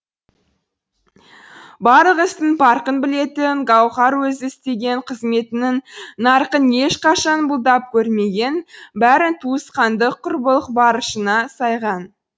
барлық істің парқын білетін гауһар өзі істеген қызметінің нарқын ешқашан бұлдап көрмеген бәрін туысқандық құрбылық борышына сайған